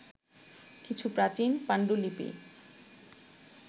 কিছু প্রাচীন পাণ্ডুলিপি